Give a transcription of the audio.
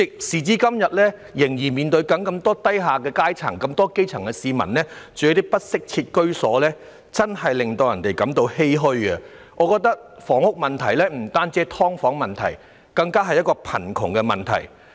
時至今天，仍有這麼多基層市民居住在不適切的居所，實在令人欷歔。我認為房屋問題不單涉及"劏房"問題，也是貧窮問題。